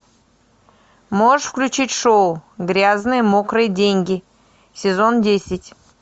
можешь включить шоу грязные мокрые деньги сезон десять